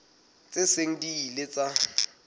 tse seng di ile tsa